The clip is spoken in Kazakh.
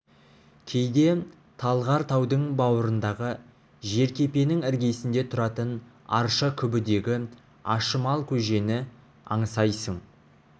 кейде талғар таудың бауырындағы жеркепенің іргесінде тұратын арша күбідегі ашымал көжені аңсайсың